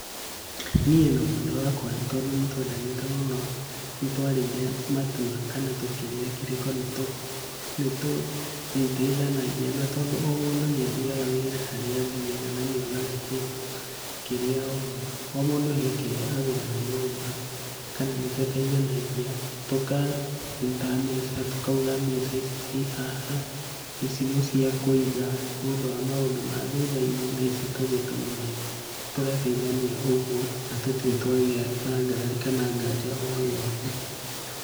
Niĩ na mwendwa wakwa tondũ nĩtwendanĩte mũno, nĩtwarĩire matua kana tũkĩrĩa kĩrĩko nĩtũrĩteithanagia na tondũ o mũndũ nĩathiaga wĩra harĩa athiaga na nĩonaga kaĩndũ kĩrĩa ona. O mũndũ he kĩrĩa agũraga nyũmba. Kana nĩtũteithanagia tũkaruta mbeca tũkauga mbeca icii haha, ici nĩcia kũiga, nĩũndũ wa maũndũ ma thutha-inĩ, na ici tũgĩtũmĩre. Tũgateithania ũguo, na tũtirĩ twagĩa na ngarari kana ngaja o yothe .